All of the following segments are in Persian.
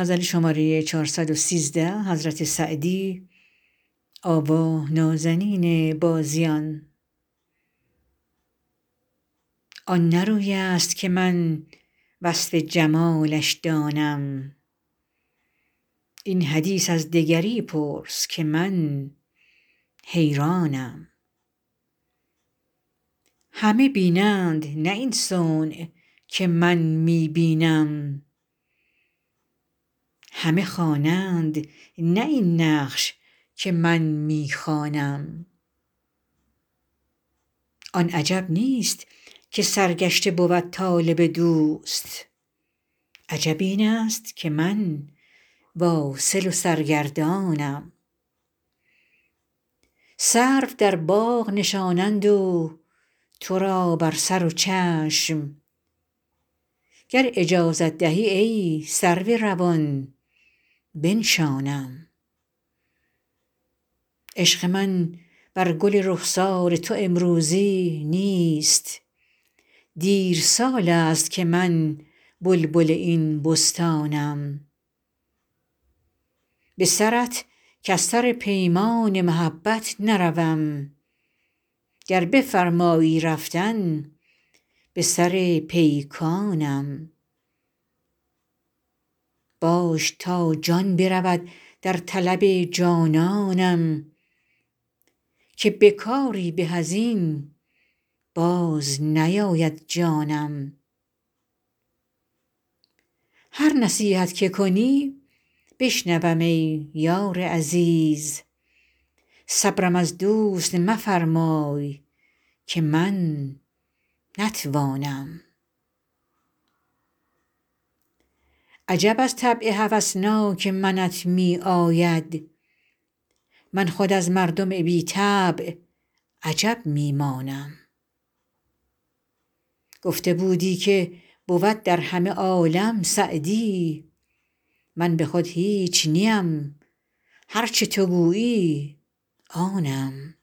آن نه روی است که من وصف جمالش دانم این حدیث از دگری پرس که من حیرانم همه بینند نه این صنع که من می بینم همه خوانند نه این نقش که من می خوانم آن عجب نیست که سرگشته بود طالب دوست عجب این است که من واصل و سرگردانم سرو در باغ نشانند و تو را بر سر و چشم گر اجازت دهی ای سرو روان بنشانم عشق من بر گل رخسار تو امروزی نیست دیر سال است که من بلبل این بستانم به سرت کز سر پیمان محبت نروم گر بفرمایی رفتن به سر پیکانم باش تا جان برود در طلب جانانم که به کاری به از این باز نیاید جانم هر نصیحت که کنی بشنوم ای یار عزیز صبرم از دوست مفرمای که من نتوانم عجب از طبع هوسناک منت می آید من خود از مردم بی طبع عجب می مانم گفته بودی که بود در همه عالم سعدی من به خود هیچ نیم هر چه تو گویی آنم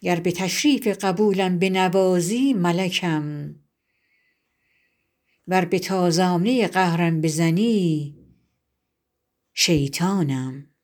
گر به تشریف قبولم بنوازی ملکم ور به تازانه قهرم بزنی شیطانم